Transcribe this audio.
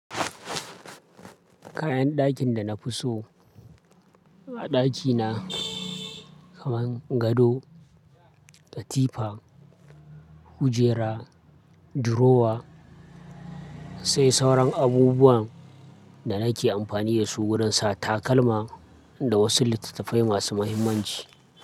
Kayan ɗakin da na fi so a ɗaki na kamar gado, katifa, kujera, dirowa sai sauran abubuwan da nake amfani da su wurin sa takalma da wasu littattafai masu muhimmanci.